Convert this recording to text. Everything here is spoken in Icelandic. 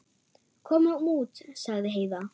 Komum út, sagði Heiða.